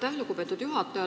Aitäh, lugupeetud juhataja!